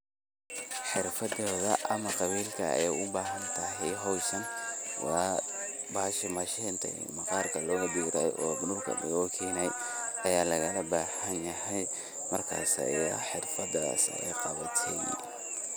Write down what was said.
Xeerfadatha amah Qabirka u bahanthay hooshan wa bahashan mashinta maqaarka lo ga bixiyoh oo marka loga keenayo loga bahanyahay markasa bahashan ee xeerfadas laqawa ssinayo.